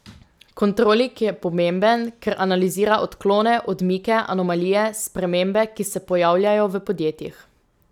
Kontroling je pomemben, ker analizira odklone, odmike, anomalije, spremembe, ki se pojavljajo v podjetjih.